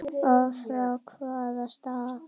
Og frá hvaða stað?